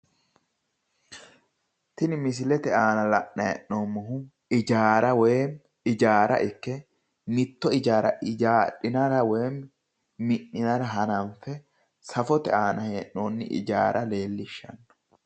tini misilete aana la'nanni heennomoti ijaara ikke mitto ijaara ijaadhinara woyi mi'ninara hananfe safote aana hee'nooni ijaara leellishshanno.